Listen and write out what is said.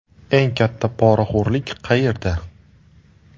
Eng katta poraxo‘rlik qayerda?